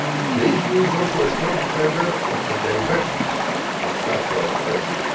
The EU is also a strong defender of the diversity of cultural expression.